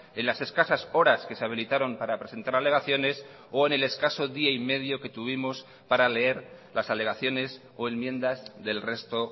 en las escasas horas que se habilitaron para presentar alegaciones o en el escaso día y medio que tuvimos para leer las alegaciones o enmiendas del resto